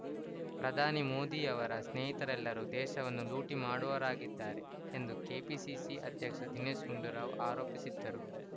ಪ್ರಧಾನಿ ಮೋದಿಯವರ ಸ್ನೇಹಿರತೆಲ್ಲರೂ ದೇಶವನ್ನು ಲೂಟಿ ಮಾಡುವರಾಗಿದ್ದಾರೆ ಎಂದು ಕೆಪಿಸಿಸಿ ಅಧ್ಯಕ್ಷ ದಿನೇಶ್‌ ಗುಂಡೂರಾವ್‌ ಆರೋಪಿಸಿದ್ದರು